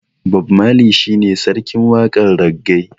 Bob marley shi ne sarkin waƙar raggae.